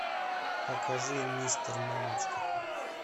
покажи мистер мамочка